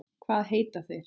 Hvað heita þeir?